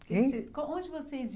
Quem? Onde vocês